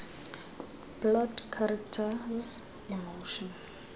plot characters emotion